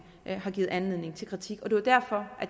har givet anledning til kritik og det var derfor